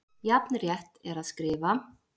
Jafn rétt er að skrifa